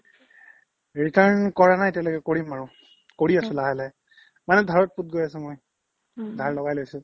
return কৰা নাই এতিয়ালৈকে কৰিম আৰু কৰি আছো লাহে লাহে মানে ধাৰত পোত গৈ আছো মই ধাৰ লগাই লৈছো ।